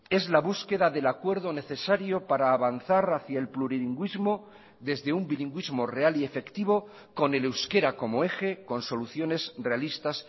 es la búsqueda del acuerdo necesario para avanzar hacia el plurilingüismo desde un bilingüismo real y efectivo con el euskera como eje con soluciones realistas